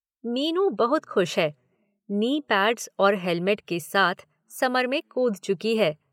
मीनू बहुत खुश है। नी पैड्स और हेलमेट के साथ समर में कूद चुकी है।